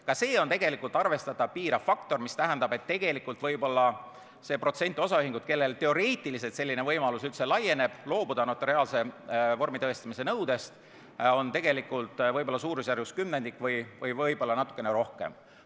Ka see on tegelikult arvestatav piirav faktor, mis tähendab, et osaühinguid, kellele teoreetiliselt üldse laieneb selline võimalus loobuda notariaalse tõestamise vorminõudest, võib olla suurusjärgus kümnendik, võib-olla natuke rohkem.